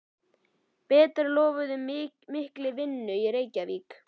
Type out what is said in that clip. Bretar lofuðu mikilli vinnu í Reykjavík.